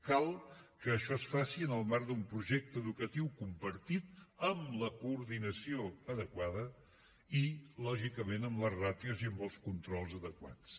cal que això es faci en el marc d’un projecte educatiu compartit amb la coordinació adequada i lògicament amb les ràtios i els controls adequats